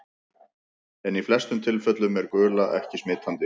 En í flestum tilfellum er gula ekki smitandi.